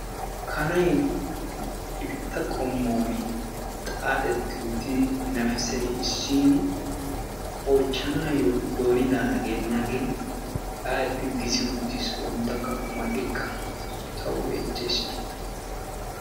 kana ifitta qomooni xaaxetti utini nafisay issiini oychanaayo dooni daana gidenaage xaaxeti gisi utidaage tawu beetees.